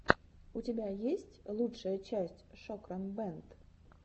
у тебя есть лучшая часть шокран бэнд